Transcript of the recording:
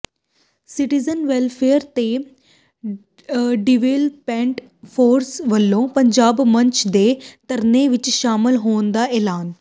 citizen welfare ਤੇ development forum ਵੱਲੋਂ ਪੰਜਾਬੀ ਮੰਚ ਦੇ ਧਰਨੇ ਵਿੱਚ ਸ਼ਾਮਲ ਹੋਣ ਦਾ ਐਲਾਨ